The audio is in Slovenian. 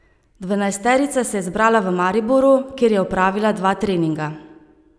Dvanajsterica se je zbrala v Mariboru, kjer je opravila dva treninga.